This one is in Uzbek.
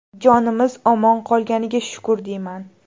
Jonimiz omon qolganiga shukr, deyman.